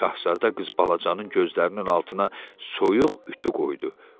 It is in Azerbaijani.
Şahzadə qız balacanın gözlərinin altına soyuq ütü qoydu.